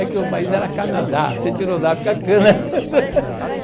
É que o país era Canadá, se tira o da fica cana.